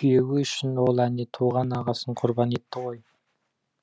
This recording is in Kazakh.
күйеуі үшін ол әне туған ағасын құрбан етті ғой